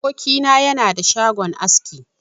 Aboki na yana da shagon aski.